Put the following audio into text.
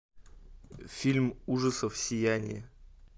фильм ужасов сияние